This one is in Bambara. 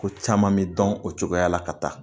Ko caman bɛ dɔn o cogoya la ka taa